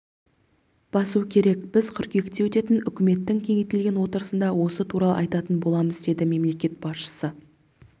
басу керек біз қыркүйекте өтетін үкіметтің кеңейтілген отырысында осы туралы айтатын боламыз деді мемлекет басшысы